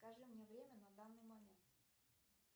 скажи мне время на данный момент